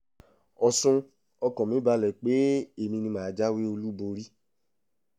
ọ̀sùn ọkàn mi balẹ̀ pé èmi ni mà á jáwé olúborí